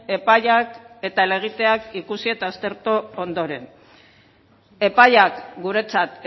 epaiak eta helegiteak ikusi eta aztertu ondoren epaiak guretzat